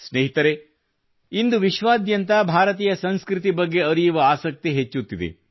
ಸ್ನೇಹಿತರೆ ಇಂದು ವಿಶ್ವಾದ್ಯಂತ ಭಾರತೀಯ ಸಂಸ್ಕೃತಿ ಬಗ್ಗೆ ಅರಿಯುವ ಆಸಕ್ತಿ ಹೆಚ್ಚುತ್ತಿದೆ